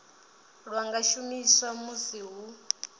lwa nga shumiswa musi hu